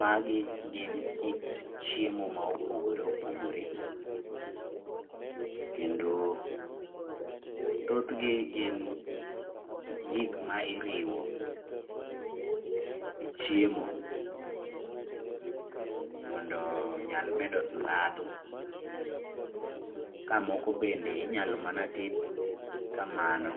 Magi gin kit chiemo maopogore opogore, kendo thothgi gin gikma iriwo e chiemo mondo onyal medo ndadho kamoko bende inyalo mana ted kamano.